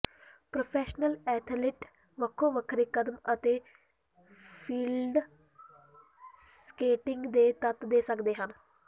professional athlete ਵੱਖੋ ਵੱਖਰੇ ਕਦਮ ਅਤੇ ਫੀਲਡ ਸਕੇਟਿੰਗ ਦੇ ਤੱਤ ਦੇ ਸਕਦੇ ਹਨ